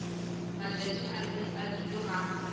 matšatši a e bile ga